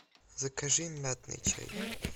закажи мятный чай